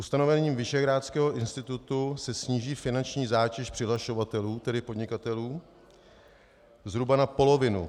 Ustanovením Visegrádského institutu se sníží finanční zátěž přihlašovatelů, tedy podnikatelů, zhruba na polovinu.